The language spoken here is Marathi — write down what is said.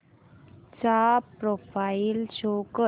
चा प्रोफाईल शो कर